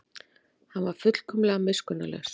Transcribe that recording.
Hann var fullkomlega miskunnarlaus.